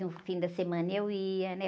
No fim da semana eu ia, né?